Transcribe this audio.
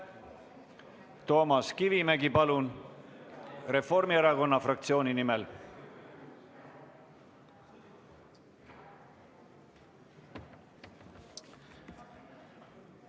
Toomas Kivimägi Reformierakonna fraktsiooni nimel, palun!